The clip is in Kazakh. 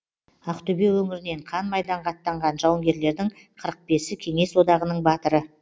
ақтөбе өңірінен қан майданға аттанған жауынгерлердің қырық бесі кеңес одағының батыры